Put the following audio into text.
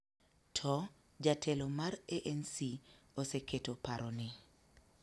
To, jatelo mar ANC oseketo paro ni